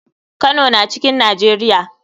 Kano na cikn nijeria.